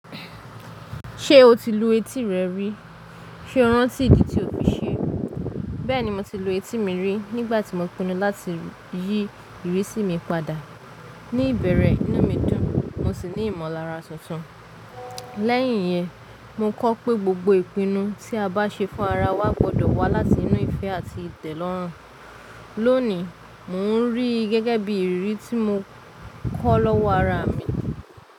Ṣé o ti lu etí rẹ rí? Sé ọrántí ìdí tí o fi ṣe? Bẹ́ẹ̀ni, mo ti lu etí mi rí nígbà tí mo pinnu láti yí ìrísí mi padà. Ni ìbẹ̀rẹ̀, iná mi dùn, mo sì ní ìmọ̀lára tuntun. Lẹ́yìn yẹn, mo kọ́ pé gbogbo ìpinnu tí a bá ṣe fún ara wa gbọdọ̀ wá láti inú ìfẹ́ àti ìtẹ̀lọ́rùn. Lónìí, mò ń rí i gẹ́gẹ́ bí ìrírí tí mo kọ́ lọ́wọ́ ara mi.